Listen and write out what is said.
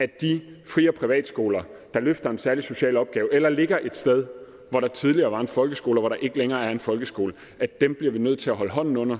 de fri og privatskoler der løfter en særlig social opgave eller som ligger et sted hvor der tidligere var en folkeskole og hvor der ikke længere er en folkeskole dem bliver vi nødt til at holde hånden under